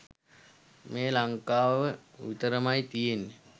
මේ ලංකාව විතරමයි තියෙන්නේ.